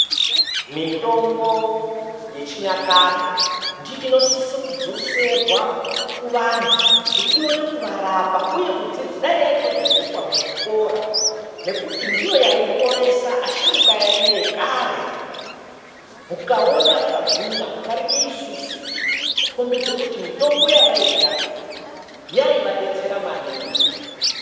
Mitombo yechinyakare inosise kudzoserwa kuvantu kuti ikone kuvarapa uye dai yaitodzidziswa muzvikora nekuti ndiyo yaiponesa asharukwa edu ekare mukaona vakagwinya kudarike isusu kukombidze kuti mitombo yavairwa yavadetsera maningi